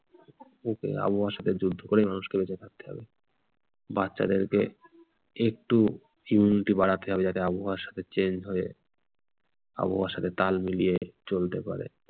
ওকে আবহাওয়া সাথে যুদ্ধ করেই মানুষকে বেঁচে থাকতে হবে। বাচ্চাদেরকে একটু immunity বাড়াতে হবে যাতে আবহাওয়ার সাথে change হয়ে আবহাওয়ার সাথে তাল মিলিয়ে চলতে পারে।